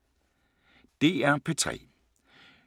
DR P3